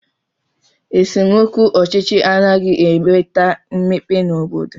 Esemokwu ọchịchị anaghị enweta mmepe n'obodo